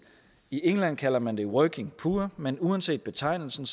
i england kalder man det the working poor men uanset betegnelsen